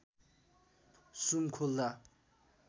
सुम खोल्दा